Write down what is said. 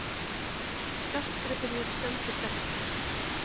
Skartgripirnir seldust ekki